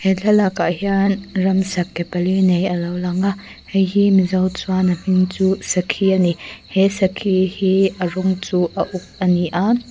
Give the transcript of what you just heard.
he thlalakah hian ramsa ke pali nei a lo lang a heihi mizo chuan a hming chu sakhi ani he sakhi hi a rawng chu a uk ani a.